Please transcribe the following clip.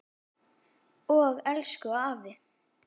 Og elsku afi.